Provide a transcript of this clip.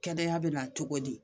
Kɛnɛya bɛ na cogo di